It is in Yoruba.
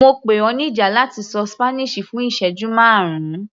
Mo pè ọ níjà láti ṣọ Spanish fún ìsẹ́jú márùn-ún.